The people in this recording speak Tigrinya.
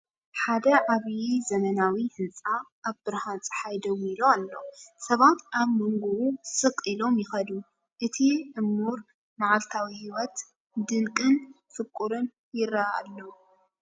ሓደ ዓቢ ዘመናዊ ህንጻ ኣብ ብርሃን ጸሓይ ደው ኢሉ ኣሎ። ሰባት ኣብ መንጎኡ ስቕ ኢሎም ይኸዱ፣ እቲ ዕሙር መዓልታዊ ህይወት ድንቅን ፍቑርን ይረአ ኣሎ!